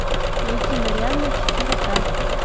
найти марианна четыре ка